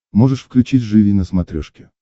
можешь включить живи на смотрешке